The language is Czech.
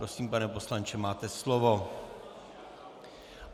Prosím, pane poslanče, máte slovo.